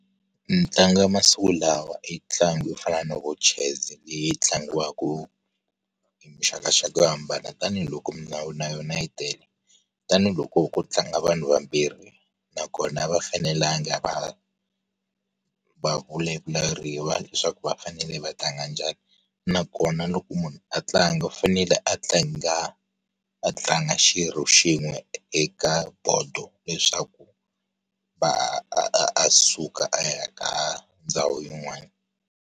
Ntlangu ya masiku lawa i ntlangu yo fana na vo chess leyi tlangiwa ku hi muxakaxaka yo hambana tanihiloko milawu na yona yi tele. Tanihi loko ku tlanga vanhu vambirhi, nakona a va fanelanga a va ha, va vulavuleriwa leswaku va fanele va tlanga njhani. Nakona loko munhu a tlanga u fanele a tlanga, a tlanga xirho xin'we eka bodo leswaku, va a a a suka a ya ka ndhawini yin'wana.